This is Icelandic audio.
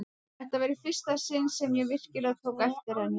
Þetta var í fyrsta sinn sem ég virkilega tók eftir henni.